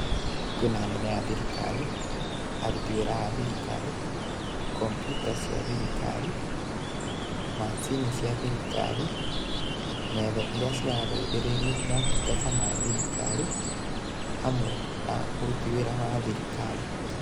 Kwĩna anene a thirikari, aruti wĩra a thirikari, kompyuta cia thirikari, macini cia thirikari, metha iria cirateithĩrĩria motungata ma thirikari hamwe na ũruti wĩra wa thirikari.